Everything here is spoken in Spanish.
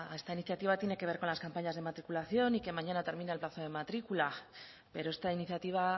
esta iniciativa tiene que ver con las campañas de matriculación y que mañana termina el plazo de matrícula pero esta iniciativa